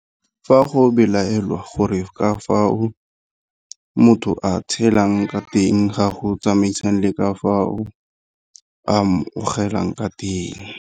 Fa go belaelwang gore ka fao motho a tshelang ka teng ga go tsamaisane le ka fao a amogelang ka teng.